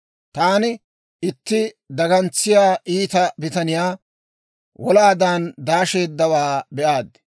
Taani itti dagantsiyaa iita bitaniyaa, wolaadan daasheeddawaa be'aad.